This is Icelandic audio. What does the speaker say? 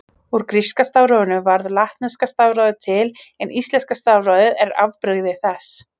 Úr gríska stafrófinu varð latneska stafrófið til en íslenska stafrófið er afbrigði þess.